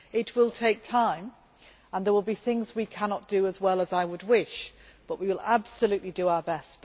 It will take time and there will be things we cannot do as well as I would wish, but we will absolutely do our best.